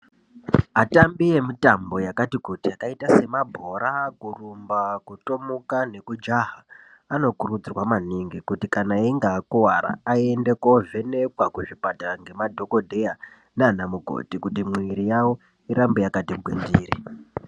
Atambi emitambo yakati kuti akaita semabhora, kurumba, kutomuka nekujaha anokurudzirwa maningi kuti kana einge akuvara aende kovhenekwa kuzvipatara ngemadhogodheya nana mukoti, kuti mhiri yavo irambe yakati gwindiri.